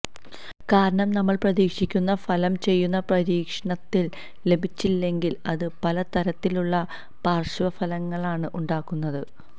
കാരണം നമ്മള് പ്രതീക്ഷിക്കുന്ന ഫലം ചെയ്യുന്ന പരീക്ഷണത്തില് ലഭിച്ചില്ലെങ്കില് അത് പല തരത്തിലുള്ള പാര്ശ്വഫലങ്ങളാണ് ഉണ്ടാക്കുന്നത്